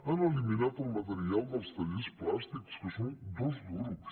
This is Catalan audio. han eliminat el material dels tallers plàstics que són dos duros